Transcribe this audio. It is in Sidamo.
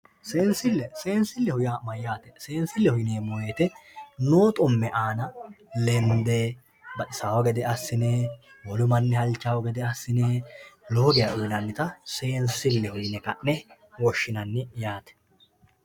seensille seensilleho yaa mayyaate seensilleho yineemmo woyyite noo xumme aana lende baxisawo gede assine wolu mannira uyiinannita lende seensilleho yine woshshinanni yaate